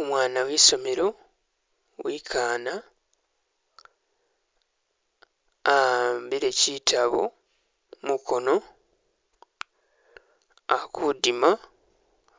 Umwana wi i'somelo, wi'ikaana ahambile kitabu mukono, a kudima